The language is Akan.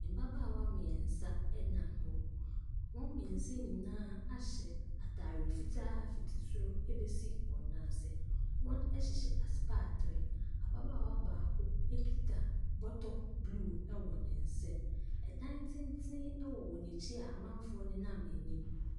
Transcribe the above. Mmabaawa mmeɛnsa nam hɔ. Wɔn mmeɛnsa yi nyinaa ahyɛ atare fitaa fiti soro bɛsi wɔn nan ase. Wɔhyehyɛ asopaatee. Ababaawa baako kita bɔtɔ blue wɔ ne nsam. Dan tenten wɔ wɔn ankyi a amanfoɔ nenam anim.